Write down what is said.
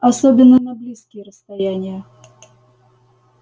особенно на близкие расстояния